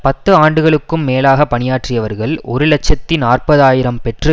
பத்து ஆண்டுகளுக்கும் மேலாக பணியாற்றியவர்கள் ஒரு இலட்சத்தி நாற்பது ஆயிரம் பெற்று